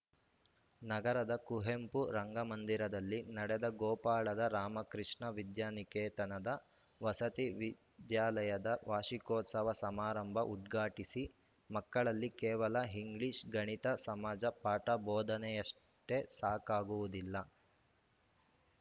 ನಗರದ ಕುವೆಂಪು ರಂಗಮಂದಿರದಲ್ಲಿ ನಡೆದ ಗೋಪಾಳದ ರಾಮಕೃಷ್ಣ ವಿದ್ಯಾ ನಿಕೇತನದ ವಸತಿ ವಿದ್ಯಾಲಯದ ವಾರ್ಷಿಕೋತ್ಸವ ಸಮಾರಂಭ ಉದ್ಘಾಟಿಸಿ ಮಕ್ಕಳಿಗೆ ಕೇವಲ ಇಂಗ್ಲಿಷ್‌ ಗಣಿತ ಸಮಾಜ ಪಾಠ ಬೋಧನೆಯಷ್ಟೆಸಾಕಾಗುವುದಿಲ್ಲ